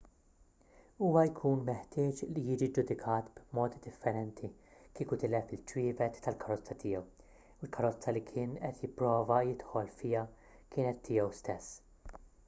huwa jkun meħtieġ li jiġi ġġudikat b'mod differenti kieku tilef iċ-ċwievet tal-karozza tiegħu u l-karozza li kien qed jipprova jidħol fiha kienet tiegħu stess